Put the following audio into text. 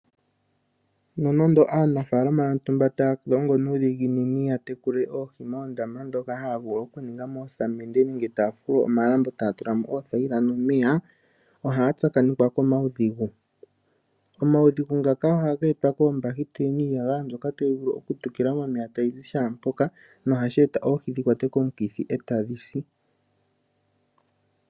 Nonando aanafaalama yontumba taya longo nuudhiginini ya tekule oohi moondama ndhoka haya vulu okuninga moosamende nenge taya fulu omalambo taya tula mo oothayila nomeya, ohaya tsakanekwa komaudhigu. Omaudhigu ngaka ohaga etwa koombakiteli niiyagaya mbyok tayi vulu okutukila momeya tayi zi shaa mpoka nohashi eta oohi dhi kwatwe komikithi e tadhi si.